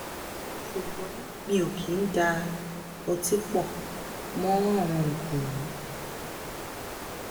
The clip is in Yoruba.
ṣùgbọ́n mi ò kì í da um ọtí pọ̀ um mọ́ àwọn oogun wọ̀nyí